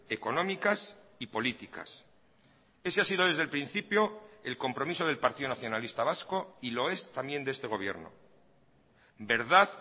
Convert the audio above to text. económicas y políticas ese ha sido desde el principio el compromiso del partido nacionalista vasco y lo es también de este gobierno verdad